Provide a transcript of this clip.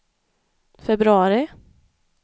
februari